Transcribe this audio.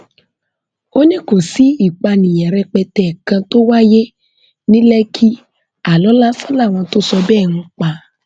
ó ní kò sí ìpànìyàn rẹpẹtẹ kan tó wáyé ní lẹkì aálọ lásán làwọn tó sọ bẹẹ ń pa